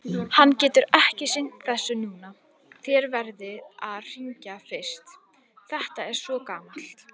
Hann getur ekki sinnt þessu núna, þér verðið að hringja fyrst, þetta er svo gamalt.